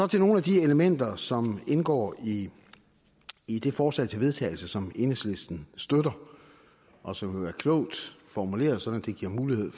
til nogle af de elementer som indgår i i det forslag til vedtagelse som enhedslisten støtter og som er klogt formuleret så det giver mulighed